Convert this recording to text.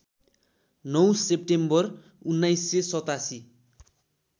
९ September १९८७